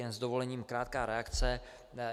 Jen s dovolením krátká reakce.